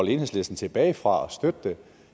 enhedslisten tilbage fra at støtte det